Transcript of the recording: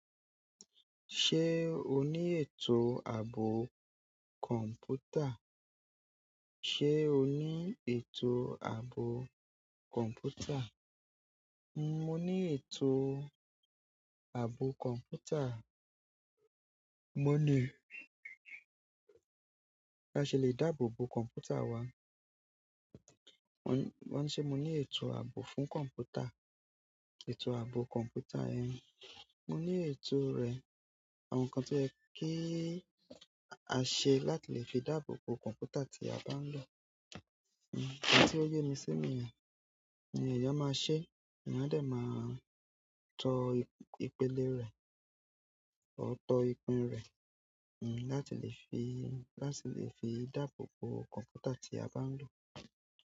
Ṣé o ní ètò ààbò kọ̀ǹpútà? Ṣé o ní ètò ààbò kọ̀ǹpútà? Mo ní ètò ààbò kọ̀ǹpútà. Won le, bi a se le dáàbò bo komputa wa. Wọ́n ńi ṣe mó ní ètò ààbò fún kọ̀mpútà. Ètò ààbò kọ̀ǹpútà yẹn, mo ní ètò rẹ̀. Àwọn nǹkan tó yẹ kí a ṣe láti lè fi dáàbò bo kọ̀ǹpútà tí a bá ń lò. Ohun tí ó yẹ́ mi sími yẹn ni ẹ̀yàn máa ṣe, eyan a dé máa tọ ipélé rẹ̀, ó tọ ipin rẹ̀, láti lè fi, láti lè fi dáàbò bo kọ̀ǹpútà tí a bá ń lò.